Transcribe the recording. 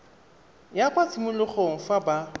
ya kwa tshimologong fa ba